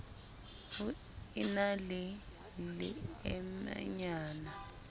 ho e na le leemenyana